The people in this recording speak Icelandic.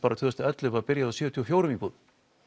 tvö þúsund og ellefu þegar byggðum sjötíu og fjórar íbúðir